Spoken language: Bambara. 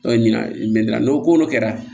O ye ɲina n'o ko n'o kɛra